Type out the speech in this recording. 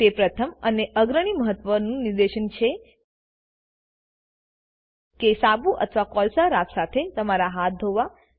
તે પ્રથમ અને અગ્રણી મહત્વનું નિર્દેશ છે કે સાબુ અથવા કોલસા રાખ સાથે તમારા હાથ ધોવા